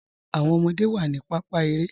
Awọn ọmọde wa ni pàpá èrè.